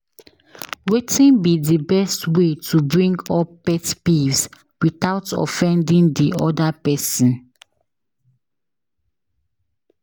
Wetin be di best way to bring up pet peeves without offending di oda pesin?